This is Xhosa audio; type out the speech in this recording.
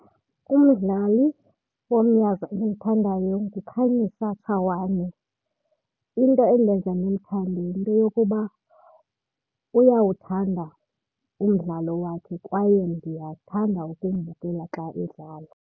Umdlali womnyazi endimthandayo nguKhanyisa Tshawane. Into endenza ndimthande yinto yokuba uyawuthanda umdlalo wakhe kwaye ndiyathanda ukumbukela xa edlala.